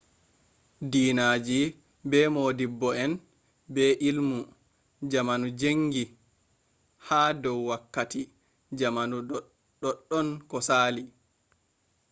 dinaji be modibbo-en be ilmu, jamanu jangi ha dou wakkati jamanu doddon ko sali